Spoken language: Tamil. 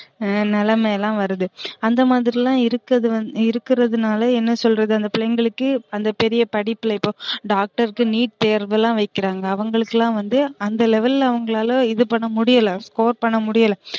ஆஹ் நிலமைலாம் வருது அந்த மாதிரிலாம் இருகது வந்து இருகறதுனால என்ன சொல்றது அந்த பிள்ளைங்கலுக்கு அந்த பெரிய படிப்புல இப்போ டாக்டருக்கு NEET தேர்வுலாம் வைக்குறாங்க அவுங்களுக்குலாம் வந்து அந்த level ல அவுங்களால இது பண்ண முடில score பண்ண முடில